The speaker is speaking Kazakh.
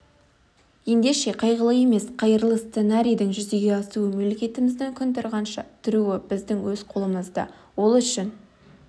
ендеше қайғылы емес қайырлы сценарийдің жүзеге асуы мемлекетіміздің күн тұрғанша тұруы біздің өз қолымызда ол үшін